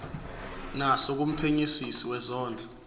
naso kumphenyisisi wezondlo